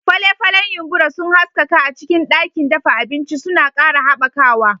Fale-falen yumbura sun haskaka a cikin ɗakin dafa abinci, suna ƙara haɓakawa.